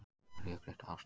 Rökrétt afstaða